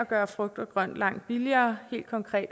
gøre frugt og grønt langt billigere og helt konkret